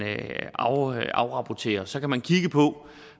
afrapporterer så kan man kigge på